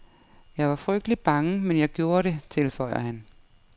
Jeg var frygtelig bange, men jeg gjorde det, tilføjer han.